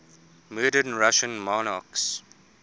murdered russian monarchs